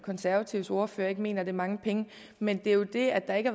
konservatives ordfører ikke mener det er mange penge men det er jo det at man ikke